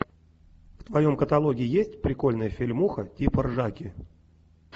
в твоем каталоге есть прикольная фильмуха типа ржаки